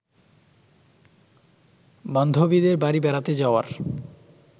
বান্ধবীদের বাড়ি বেড়াতে যাওয়ার